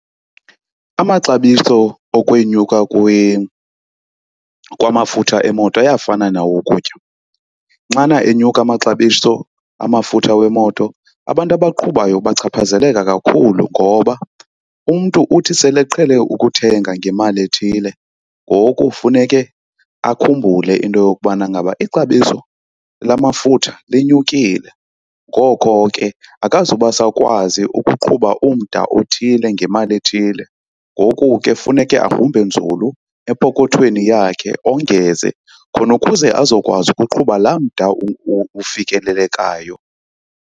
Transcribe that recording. Amaxabiso okwenyuka kwamafutha emoto ayafana nawokutya. Xana enyuka amaxabiso amafutha wemoto, abantu abaqhubayo bachaphazeleka kakhulu. Ngoba umntu uthi sele eqhele ukuthenga ngemali ethile ngoku funeke akhumbule into yokubana ngaba ixabiso lamafutha linyukile, ngoko ke akazuba sakwazi ukuqhuba umda othile ngemali ethile. Ngoku ke funeke agrumbe nzulu epokothweni yakhe ongenze khona ukuze azokwazi ukuqhuba laa mda ufikelelekayo.